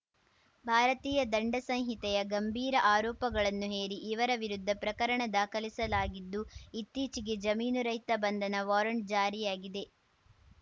ಭಾರತೀಯ ದಂಡ ಸಂಹಿತೆಯ ಗಂಭೀರ ಆರೋಪಗಳನ್ನು ಹೇರಿ ಇವರ ವಿರುದ್ಧ ಪ್ರಕರಣ ದಾಖಲಿಸಲಾಗಿದ್ದು ಇತ್ತೀಚೆಗೆ ಜಾಮೀನುರಹಿತ ಬಂಧನ ವಾರಂಟ್‌ ಜಾರಿಯಾಗಿದೆ